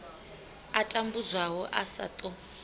a tambudzwaho a sa ṱo